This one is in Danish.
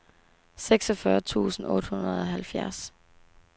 seksogfyrre tusind og otteoghalvfjerds